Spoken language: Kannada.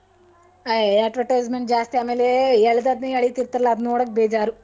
ಅಯ್ಯ್ advertisement ಜಾಸ್ತಿ ಆಮೇಲೇ ಎಳ್ಲದಧ್ನೆ ಏಳಿತಿರ್ತಾರಲ್ಲ ಅದನ್ ನೋಡಕ್ ಬೇಜಾರು.